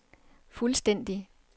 fuldstændig